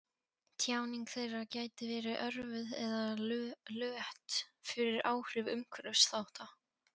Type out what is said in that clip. Tjáning þeirra gæti verið örvuð eða lött fyrir áhrif umhverfisþátta.